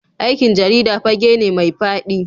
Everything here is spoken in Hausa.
Aikin jarida fage ne mai fadi.